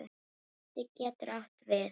Biti getur átt við